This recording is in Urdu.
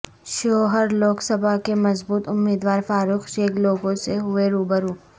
شیوہر لوک سبھا کے مضبوط امیدوار فاروق شیخ لوگوں سے ہوئے روبرو